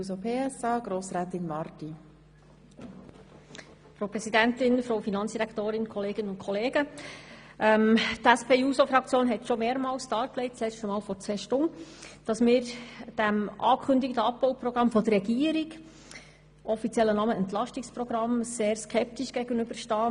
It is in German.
Die SP-JUSO-PSA-Fraktion hat schon mehrmals – letztmals vor zwei Stunden – dargelegt, dass wir dem angekündigten Abbauprogramm der Regierung mit dem offiziellen Namen «Entlastungsprogramm» sehr skeptisch gegenüberstehen.